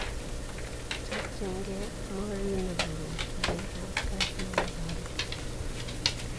Chobchingei Mourinho kowekigei kapkasii en igoriton.